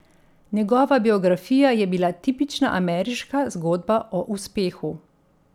Njegova biografija je bila tipična ameriška zgodba o uspehu.